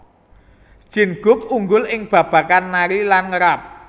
Jin Guk unggul ing babagan nari lan nge rap